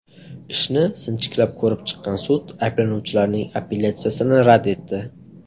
Ishni sinchiklab ko‘rib chiqqan sud ayblanuvchilarning apellyatsiyasini rad etdi.